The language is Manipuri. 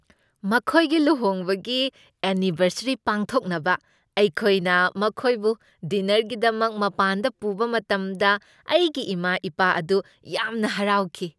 ꯃꯈꯣꯏꯒꯤ ꯂꯨꯍꯣꯡꯕꯒꯤ ꯑꯦꯟꯅꯤꯚꯔꯁꯔꯤ ꯄꯥꯡꯊꯣꯛꯅꯕ ꯑꯩꯈꯣꯏꯅ ꯃꯈꯣꯏꯕꯨ ꯗꯤꯟꯅꯔꯒꯤꯗꯃꯛ ꯃꯄꯥꯟꯗ ꯄꯨꯕ ꯃꯇꯝꯗ ꯑꯩꯒꯤ ꯏꯃꯥ ꯏꯄꯥ ꯑꯗꯨ ꯌꯥꯝꯅ ꯍꯔꯥꯎꯈꯤ꯫